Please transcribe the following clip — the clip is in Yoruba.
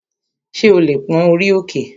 Ṣé o lè pón orí òkè?